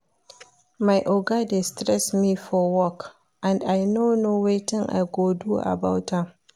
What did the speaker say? My Oga dey stress me for work and I no know wetin I go do about am